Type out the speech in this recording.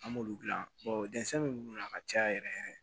An b'olu dilan dɛsɛn be munnu na ka caya yɛrɛ yɛrɛ